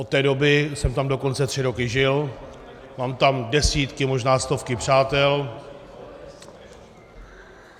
Od té doby jsem tam dokonce tři roky žil, mám tam desítky, možná stovky přátel.